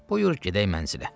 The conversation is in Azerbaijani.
Buyur gedək mənzilə.